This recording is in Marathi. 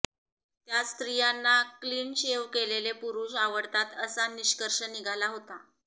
त्यात स्त्रियांना क्लिन शेव केलेले पुरुष आवडतात असा निष्कर्ष निघाला होता